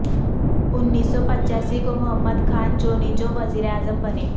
انیس سو پچاسی کو محمد خان جونیجو وزیر اعظم بنے